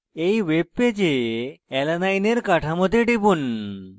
এই ওয়েবপেজে alanine এর কাঠামোতে টিপুন